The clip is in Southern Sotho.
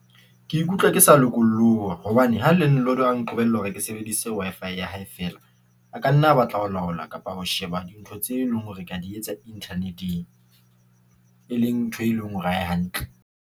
Ke ikutlwa ke sa lokolloha hobane ha land lord a nqobella hore ke sebedise Wi-Fi ya hae. Fela ela a ka nna a batla ho laola kapa ho sheba dintho tse leng hore ke a di etsa internet-eng, e leng ntho e leng hore ha e hantle.